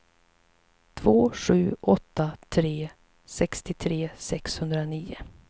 två sju åtta tre sextiotre sexhundranio